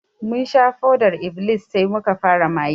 Mun sha fodar -iblis sai muka fara maye